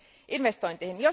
investointeihin.